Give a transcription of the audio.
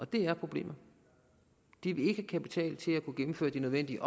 det er problemet de vil ikke have kapital til at kunne gennemføre de nødvendige